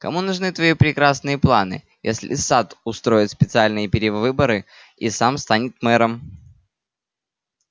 кому нужны твои прекрасные планы если сатт устроит специальные перевыборы и сам станет мэром